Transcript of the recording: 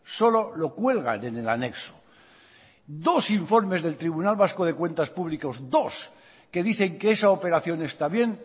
solo lo cuelgan en el anexo dos informes del tribunal vasco de cuentas públicas dos que dicen que esa operación está bien